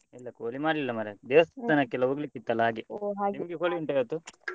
ಇಲ್ಲ ಕೋಳಿ ಮಾಡ್ಲಿಲ್ಲ ಮರ್ರೆ ದೇವಸ್ತಾನಕ್ಕೆ ಎಲ್ಲ ಹೋಗ್ಲಿಕ್ಕೆ ಇತ್ತಲ್ಲ ಹಾಗೆ. ಕೋಳಿ ಉಂಟಾ ಇವತ್ತು?